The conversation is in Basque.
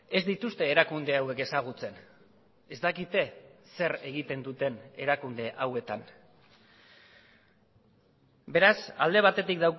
ez dituzte erakunde hauek ezagutzen ez dakite zer egiten duten erakunde hauetan beraz alde batetik